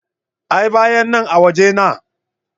A'a bayanan a waje na.